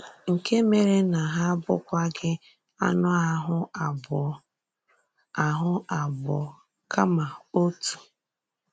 “Nke mèrè na hà abụ̀kwaghị ànụ̀ àhụ́ abụọ, àhụ́ abụọ, kàma òtù.”